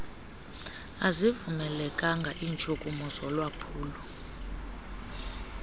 azivumelekanga iintshukumo zolwaphulo